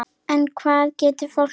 En hvað getur fólk gert?